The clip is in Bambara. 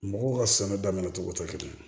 Mɔgɔw ka sɛnɛ daminɛ cogo tɛ kelen ye